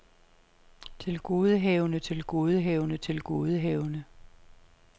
tilgodehavende tilgodehavende tilgodehavende